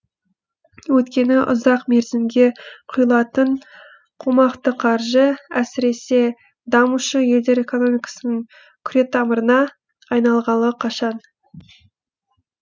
өйткені ұзақ мерзімге құйылатын қомақты қаржы әсіресе дамушы елдер экономикасының күретамырына айналғалы қашан